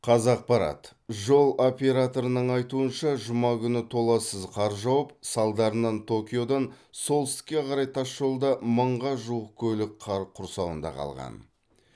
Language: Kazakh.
қазақпарат жол операторының айтуынша жұма күні толассыз қар жауып салдарынан токиодан солтүстікке қарай тасжолда мыңға жуық көлік қар құрсауында қалған